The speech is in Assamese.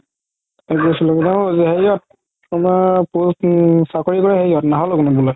কি কই আছিলো বুলে অ হেৰিহত তুমাৰ চাকৰি কৰে হেৰিহত